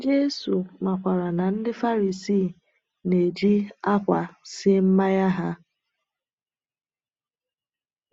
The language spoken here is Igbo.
Jésù makwaara na ndị Farisii na-eji akwa sie mmanya ha.